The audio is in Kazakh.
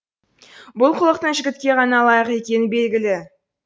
бұл қылықтың жігітке ғана лайық екені белгілі